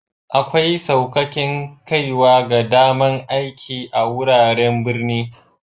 Akwai saukaken kaiwa ga dama'n aiki a'wuraren birni.